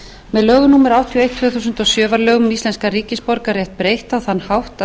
sjö var lögum um íslenskan ríkisborgararétt breytt á þann hátt að